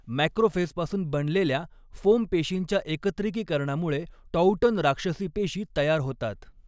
मॅक्रोफेजपासून बनलेल्या फोम पेशींच्या एकत्रिकीकरणामुळे टॉउटन राक्षसी पेशी तयार होतात.